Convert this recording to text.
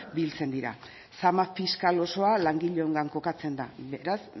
biltzen dira zama fiskal osoa langileongan kokatzen da beraz